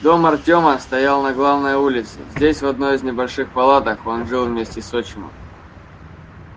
дом артёма стоял на главной улице здесь в одной из небольших палаток он жил вместе с отчимом